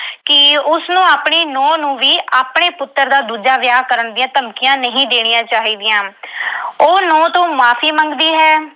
ਕਿ ਉਸਨੂੰ ਆਪਣੀ ਨੂੰਹ ਨੂੰ ਵੀ ਆਪਣੇ ਪੁੱਤਰ ਦਾ ਦੂਜਾ ਵਿਆਹ ਕਰਨ ਦੀਆਂ ਧਮਕੀਆਂ ਨਹੀਂ ਦੇਣੀਆਂ ਚਾਹੀਦੀਆਂ। ਉਹ ਨੂੰਹ ਤੋਂ ਮੁਆਫ਼ੀ ਮੰਗਦੀ ਹੈ।